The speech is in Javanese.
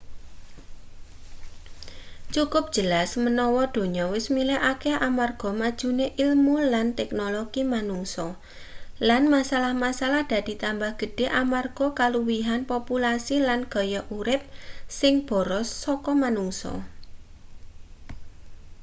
cukup jelas menawa donya wis malih akeh amarga majune ilmu lan teknologi manungsa lan masalah-masalah dadi tambah gedhe amarga kaluwihan populasi lan gaya urip sing boros saka manungsa